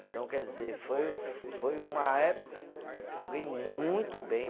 Então, quer dizer, foi o, foi uma época que eu ganhei muito bem.